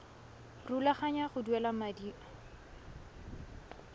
rulaganya go duela madi a